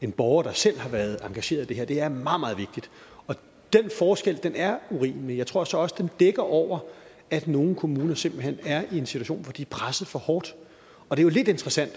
en borger der selv har været engageret i det her det er meget meget vigtigt og den forskel er urimelig jeg tror så også den dækker over at nogle kommuner simpelt hen er i en situation hvor de er presset for hårdt det er lidt interessant